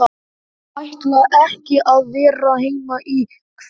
Ég ætla ekki að vera heima í kvöld.